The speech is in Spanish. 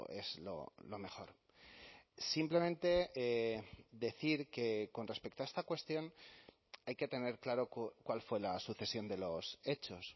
es lo mejor simplemente decir que con respecto a esta cuestión hay que tener claro cuál fue la sucesión de los hechos